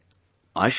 I shall wait